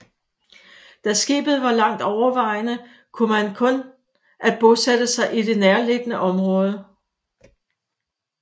Da skibet var langt overvejede man kun at bosætte sig i det nærliggende område